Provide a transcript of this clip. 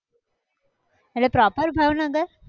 એટલે proper ભાવનગર!